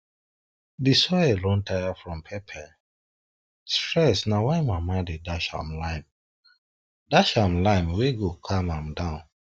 di soil don tire from pepper stress na why mama dey dash am lime dash am lime wey go calm am down